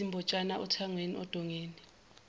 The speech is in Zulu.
izimbotshana othangweni ondongeni